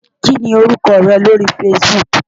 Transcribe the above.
Kí ni orúkọ rẹ lórí Facebook?